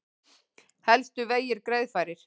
Helstu vegir greiðfærir